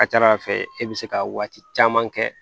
A ka ca ala fɛ e bɛ se ka waati caman kɛ